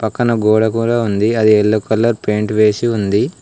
పక్కన గోడ కూడా ఉంది అది ఎల్లో కలర్ పెయింట్ వేసి ఉంది.